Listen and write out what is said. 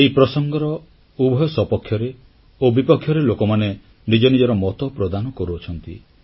ଏହି ପ୍ରସଙ୍ଗର ଉଭୟ ସପକ୍ଷରେ ଓ ବିପକ୍ଷରେ ଲୋକମାନେ ନିଜ ନିଜର ମତ ପ୍ରଦାନ କରୁଛନ୍ତି